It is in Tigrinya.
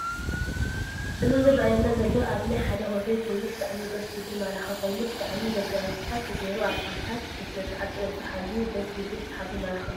እዚ ዝርኣየና ዘሎ ኣብ ናይ ሓደ ሆቴል ኮይኑ ብጣዓሚ ድስ ዝብል ማራኪ ኮይኑ ብጥዓሚ መጋየፅታት ተገይሩ ኣልባሳት ብስነ-ስርዓት ፅሬቱ ሓልው ድስ ዝብ ሰሓብን ማራክን እዩ።